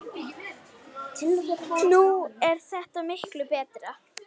Nú er þetta miklu betra.